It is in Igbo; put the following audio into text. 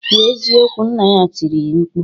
"Kwuo eziokwu!" Nna ya tiri mkpu.